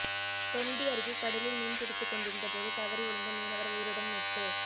தொண்டி அருகே கடலில் மீன் பிடித்து கொண்டிருந்த போது தவறி விழுந்த மீனவா் உயிருடன் மீட்பு